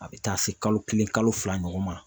A bɛ taa se kalo kelen kalo fila ɲɔgɔn ma